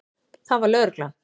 Það var lögreglan.